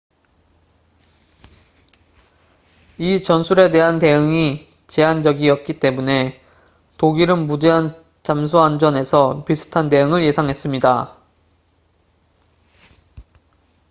이 전술에 대한 대응이 제한적이었기 때문에 독일은 무제한 잠수함전에서 비슷한 대응을 예상했습니다